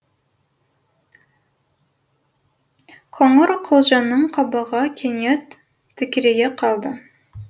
қоңырқұлжаның қабағы кенет тікірейе қалды